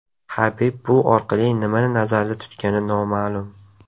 Habib bu orqali nimani nazarda tutgani noma’lum.